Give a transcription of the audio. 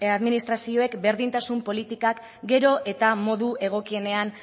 administrazioek berdintasun politikak gero eta modu egokienean